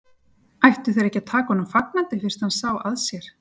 Ættu þeir ekki að taka honum fagnandi fyrst hann sá að sér?